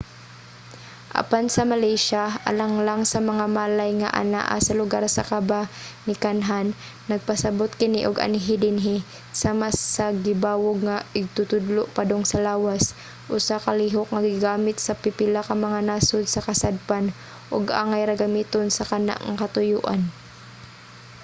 apan sa malaysia alang lang sa mga malay nga anaa sa lugar sa kabanikanhan nagpasabot kini og anhi dinhi, sama sa gibawog nga igtutudlo padung sa lawas usa ka lihok nga gigamit sa pipila ka mga nasod sa kasadpan ug angay ra gamiton sa kana nga katuyoan